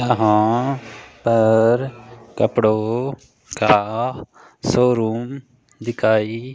यहां पर कपड़ों का शोरूम दिखाई--